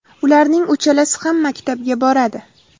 Ularning uchalasi ham maktabga boradi.